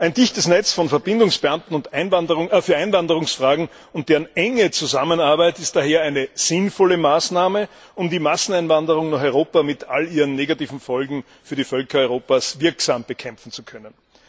Ein dichtes Netz von Verbindungsbeamten für Einwanderungsfragen und deren enge Zusammenarbeit ist daher eine sinnvolle Maßnahme, um die Masseneinwanderung nach Europa mit allen ihren negativen Folgen für die Völker Europas wirksam bekämpfen zu können.